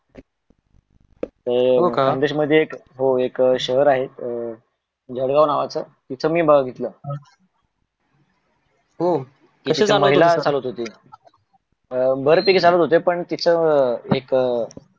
हे एक शहर आहे अं जळगाव नावाच तिथ मी बगितल ह तिथ का बघितल महिला चालवत होती